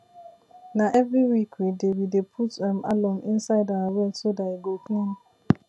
na every week we dey we dey put um alum inside our well so dat e go clean